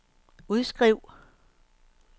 udskriv